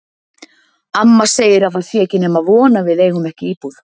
Amma segir að það sé ekki nema von að við eigum ekki íbúð.